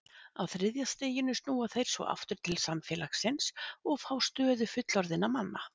Á þriðja stiginu snúa þeir svo aftur til samfélagsins og fá stöðu fullorðinna manna.